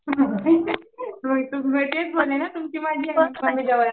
होय मी तेच बोलले ना